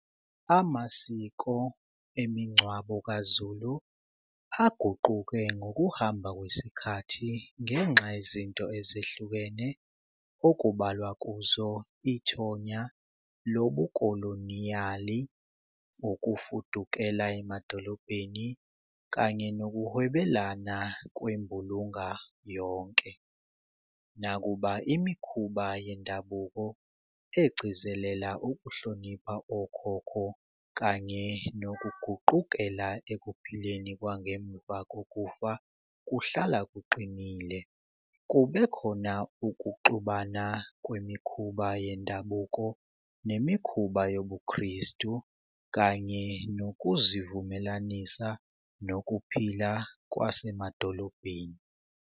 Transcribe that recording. Amasiko emingcwabo kaZulu aguquke ngokuhamba kwesikhathi ngenxa yezinto ezehlukene okubalwa kuzo ithonya lobukoloniyali, ukufudukela emadolobheni kanye nokuhwebelana kwembulunga yonke. Nakuba imikhuba yendabuko egcizelela ukuhlonipha okhokho kanye nokuguqukela ekuphileni kwangemuva kokufa kuhlala kuqinile. Kube khona ukuxubana kwemikhuba yendabuko nemikhuba yobuKristu, kanye nokuzivumelanisa nokuphila kwasemadolobheni.